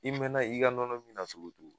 I mɛɛnna i ka nɔnɔmin na cogo o cogo